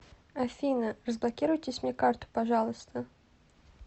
афина разблокируйтесь мне карту пожалуйста